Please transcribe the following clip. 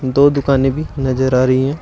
दो दुकानें भी नजर आ रही हैं।